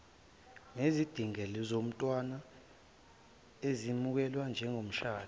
nezidingozalomthetho iyemukelwa njengemishado